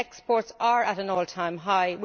Exports are at an all time high.